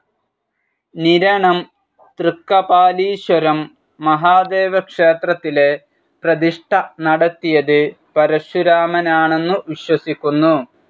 നിരണം തൃക്കപാലീശ്വരം മഹാദേവക്ഷേത്രത്തിലെ പ്രതിഷ്ഠ നടത്തിയത് പരശുരാമനാണന്നു വിശ്വസിക്കുന്നു.